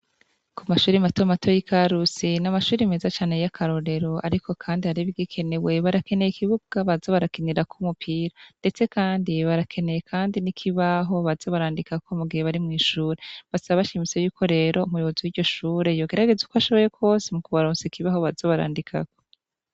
Kumashure mato mato yi Karusi namashure meza cane yakarorero ariko kandi hariho ibigikenewe barakeneye ikibuga baza barakinirako umupira ndetse kandi barakeneye kandi nikibaho baza barandikako mugihe bari mwishure basaba bashimitse yuko rero umuyobozi wiryo shuri yogeregeza uko ashoboye kose mukubaronsa ikibaho baza barandikako.